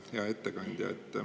Hea ettekandja!